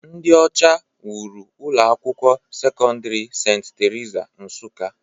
Ndị ọcha wuru ụlọ akwụkwọ sekọndrị St. Theresa, Nsukka.